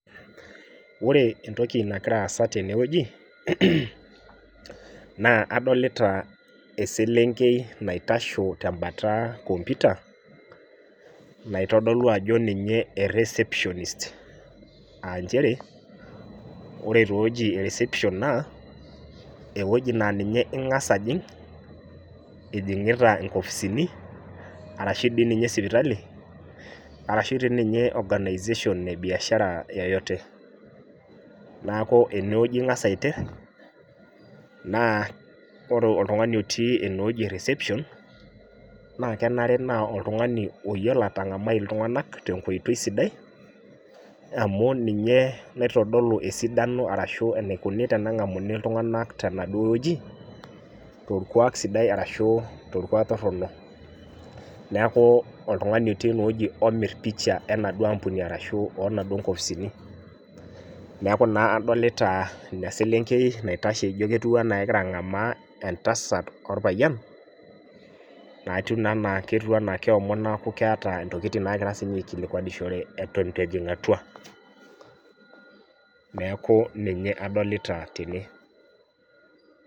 Wore entoki nakira aasa tene wueji, naa adolita eselenkei naitasho tembata computer, naitodolu ajo ninye e receptionist, aa nchere, wore taa ewoji ereception naa, ewoji naa ninye ingas ajing, ijingita inkofisini arashu dii ninye sipitali, arashu dii ninye organization ebiasharai yeyote. Neeku enewuoji ingas aiterr, naa wore oltungani otii enewuoji e reception, naa kenare naa oltungani ooyiolo atangamai iltunganak tenkoitoi sidai, amu ninye loitodolu esidano arashu enaikuni tenengamuni iltunganak tenaduo wueji, torkuak sidai arashu torkuak torrono. Neeku oltungani otii ene omirr picha enaduo ampuni arashu oonaduo nkopisini. Neeku naa adolita ina selenkei naitasho ijo ketiu enaa kekira angamaa entasat orpayian, naitiu naa enaa ketiu enaa keomon neeku keeta intokitin naakira sininche aikilikuanishore eton itu ejing atua. Neeku ninye adolita tene.